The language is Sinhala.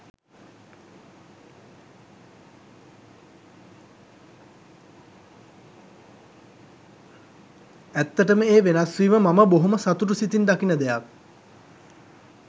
ඇත්තටම ඒ වෙනස්වීම මම බොහොම සතුටු සිතින් දකින දෙයක්.